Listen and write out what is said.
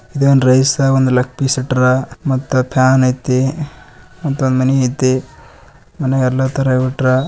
ಇದೊಂದು ರೈಸ್ ಒಂದ್ leg piece ಇಟ್ಟರ್ ಮಟ್ಟ ಫ್ಯಾನ್ ಯಯಾತಿ ಮ್ಯಾಟ್ ಮಣಿ ಯಯಾತಿ ಮನೆಲಿ ಎಲ್ಲ ತಾರಾ ಇಟ್ಟಾರ.